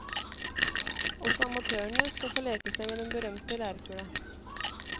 Også amatørene skal få leke seg med den berømte lærkula.